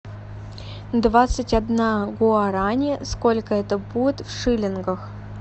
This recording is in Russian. двадцать одна гуарани сколько это будет в шиллингах